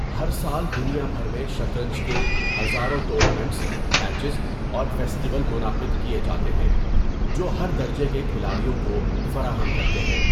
ہر سال دنیا بھر میں شطرنج کے ہزاروں ٹورنامنٹس، میچز اور فیسٹیول منعقد کیے جاتے ہیں جو ہر درجے کے کھلاڑیوں کو فراہم کرتے ہیں۔